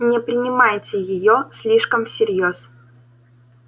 не принимайте её слишком всерьёз